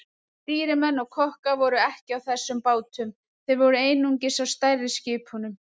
Stýrimenn og kokkar voru ekki á þessum bátum, þeir voru einungis á stærri skipunum.